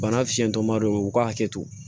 Bana fiɲɛtɔ ma don u ka hakɛ to